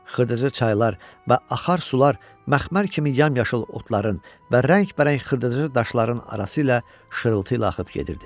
Xırdaca çaylar və axar sular məxmər kimi yamyaşıl otların və rəngbərəng xırdaca daşların arası ilə şırıltı ilə axıb gedirdi.